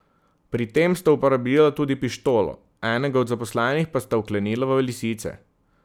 Pri tem sta uporabila tudi pištolo, enega od zaposlenih pa sta vklenila v lisice.